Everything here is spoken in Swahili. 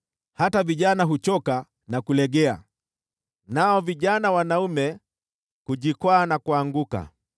Hata vijana huchoka na kulegea, nao vijana wanaume hujikwaa na kuanguka,